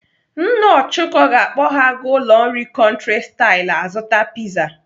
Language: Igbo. Nna Ọchụko ga-akpọ ha aga ụlọ nri Country style azụta piza.